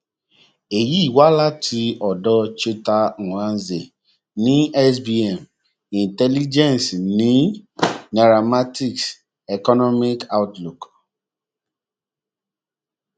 èyí wá láti ọdọ cheta nwanze ní sbm intelligence ní nairametrics economic outlook